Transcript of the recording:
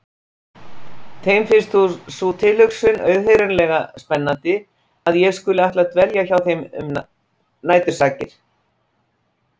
Þeim finnst sú tilhugsun auðheyrilega spennandi að ég skuli ætla að dvelja hjá þeim nætursakir.